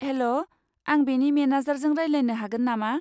हेल', आं बेनि मेनेजारजों रायज्लायनो हागोन नामा?